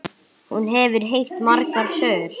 Hún hefur heyrt margar sögur.